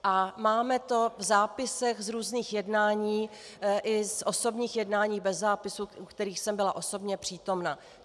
A máme to v zápisech z různých jednání i z osobních jednání bez zápisu, u kterých jsem byla osobně přítomna.